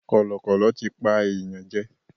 Kọ̀lọ̀kọ̀lọ̀ tí pa èèyàn jẹ.